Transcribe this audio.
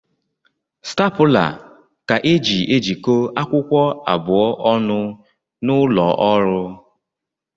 Stapụla ka e ji ejiko akwụkwọ abụọ ọnụ n’ụlọọrụ